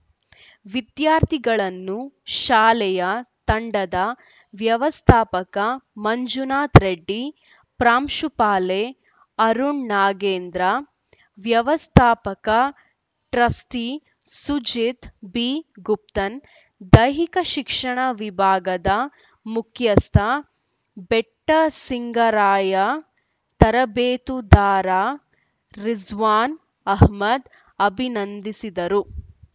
ವಿದ್ಯಾರ್ಥಿಗಳನ್ನು ಶಾಲೆಯ ತಂಡದ ವ್ಯವಸ್ಥಾಪಕ ಮಂಜುನಾಥ ರೆಡ್ಡಿ ಪ್ರಾಂಶುಪಾಲೆ ಅರುಣ್‌ ನಾಗೇಂದ್ರ ವ್ಯವಸ್ಥಾಪಕ ಟ್ರಸ್ಟಿಸುಜೀತ್‌ ಬಿಗುಪ್ತನ್‌ ದೈಹಿಕ ಶಿಕ್ಷಣ ವಿಭಾಗದ ಮುಖ್ಯಸ್ಥ ಬೆಟ್ಟಸಿಂಗಾರಯ್ಯ ತರಬೇತುದಾರ ರಿಸ್ವಾನ್‌ ಅಹ್ಮದ್‌ ಅಭಿನಂದಿಸಿದರು